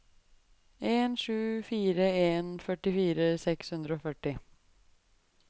en sju fire en førtifire seks hundre og førti